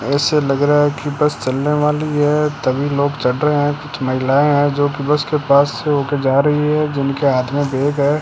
ऐसे लग रहा है की बस चलने वाली है तमिल लोग चढ़ रहे है कुछ महिलाएं है जो कि बस के पास होकर जा रही है जिनके हाथ मे बैग है।